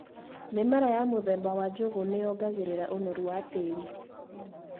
Mĩmera ya mũthemba wa njugũ nĩyongagĩrĩra ũnoru wa tĩri.